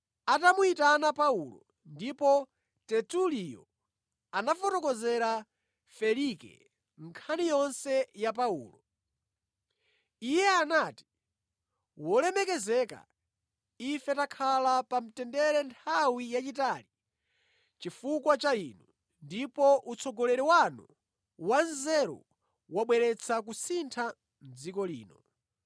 Atamuyitana Paulo, ndipo Tertuliyo anafotokozera Felike nkhani yonse ya Paulo. Iye anati, “Wolemekezeka, ife takhala pamtendere nthawi yayitali chifukwa cha inu, ndipo utsogoleri wanu wanzeru wabweretsa kusintha mʼdziko lino.